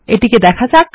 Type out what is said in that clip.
এটি করা যাক